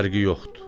Fərqi yoxdur.